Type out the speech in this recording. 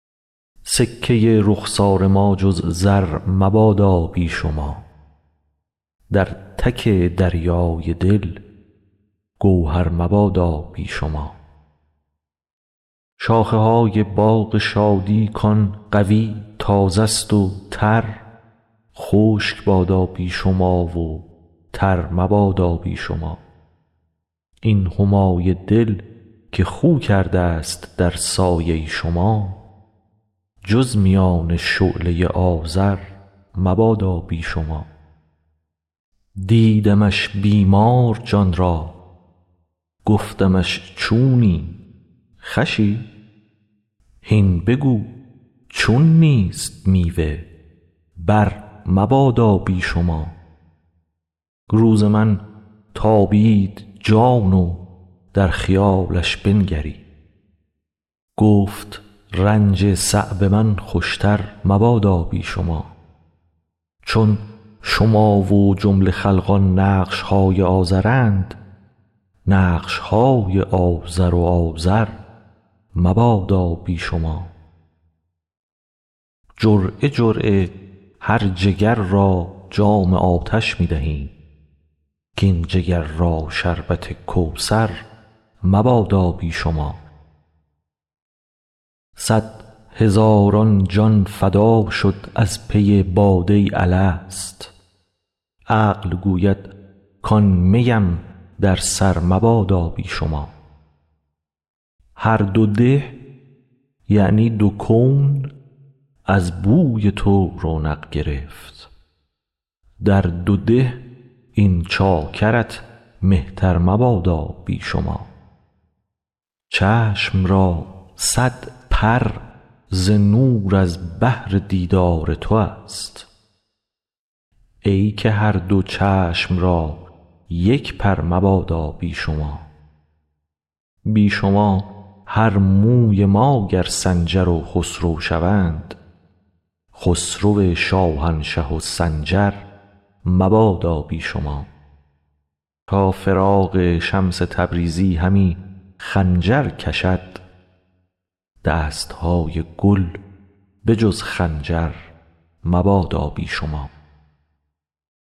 سکه رخسار ما جز زر مبادا بی شما در تک دریای دل گوهر مبادا بی شما شاخه های باغ شادی کان قوی تازه ست و تر خشک بادا بی شما و تر مبادا بی شما این همای دل که خو کردست در سایه شما جز میان شعله آذر مبادا بی شما دیدمش بیمار جان را گفتمش چونی خوشی هین بگو چون نیست میوه برمبادا بی شما روز من تابید جان و در خیالش بنگرید گفت رنج صعب من خوشتر مبادا بی شما چون شما و جمله خلقان نقش های آزرند نقش های آزر و آزر مبادا بی شما جرعه جرعه مر جگر را جام آتش می دهیم کاین جگر را شربت کوثر مبادا بی شما صد هزاران جان فدا شد از پی باده الست عقل گوید کان می ام در سر مبادا بی شما هر دو ده یعنی دو کون از بوی تو رونق گرفت در دو ده این چاکرت مهتر مبادا بی شما چشم را صد پر ز نور از بهر دیدار توست ای که هر دو چشم را یک پر مبادا بی شما بی شما هر موی ما گر سنجر و خسرو شوند خسرو شاهنشه و سنجر مبادا بی شما تا فراق شمس تبریزی همی خنجر کشد دست های گل به جز خنجر مبادا بی شما